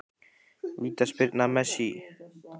Vítaspyrna Messi?